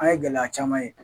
An ye gɛlɛya caman ye